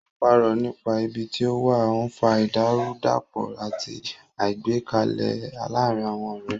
Ó parọ́ nípa ibi tí ó wà, ó ń fa ìdàrúdàpọ̀ àti àìgbẹ́kẹ̀lé láàárín àwọn ọ̀rẹ́.